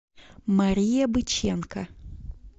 мария быченко